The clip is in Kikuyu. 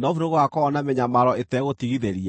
Nofu nĩgũgakorwo na mĩnyamaro ĩtegũtigithĩria.